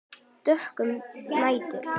Dökkur nætur